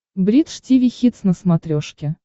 бридж тиви хитс на смотрешке